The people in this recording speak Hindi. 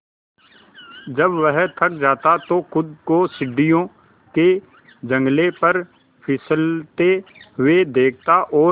जब वह थक जाता तो खुद को सीढ़ियों के जंगले पर फिसलते हुए देखता और